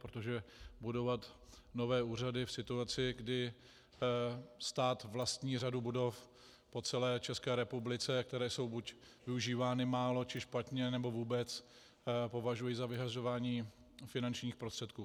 Protože budovat nové úřady v situaci, kdy stát vlastní řadu budov po celé České republice, které jsou buď využívány málo, či špatně, nebo vůbec, považuji za vyhazování finančních prostředků.